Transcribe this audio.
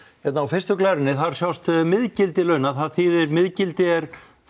hérna á fyrstu glærunni sjást miðgildi launa það þýðir miðgildi er